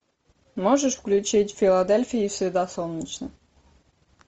можешь включить в филадельфии всегда солнечно